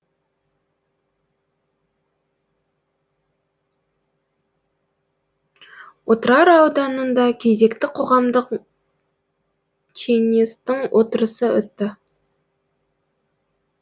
отырар ауданында кезекті қоғамдық кеңестің отырысы өтті